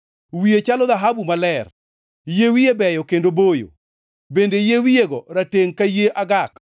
Wiye chalo dhahabu maler, yie wiye beyo kendo boyo, bende yie wiyego ratengʼ ka yie agak.